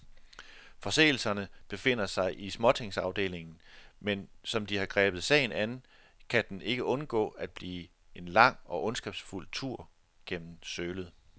Forseelserne befinder sig i småtingsafdelingen, men som de har grebet sagen an, kan den ikke undgå at blive en lang og ondskabsfuld tur gennem sølet.